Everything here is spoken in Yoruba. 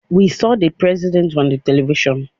We saw the President on televisions